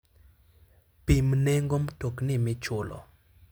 Pim nengo mtokni michulo.